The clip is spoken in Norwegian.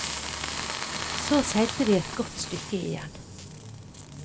Så seilte de et godt stykke igjen.